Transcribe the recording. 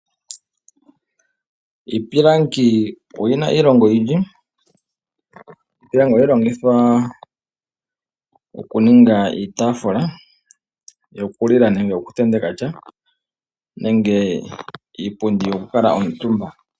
Iipilangi oyina iilonga oyindji. Ohayi longithwa oku ninga iitaafula yokulila nenge yoku tenteka sha nenge iipundi yoku kuutumba.